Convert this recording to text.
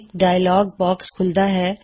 ਇੱਕ dialogue box ਖੂੱਲਦਾ ਹੈ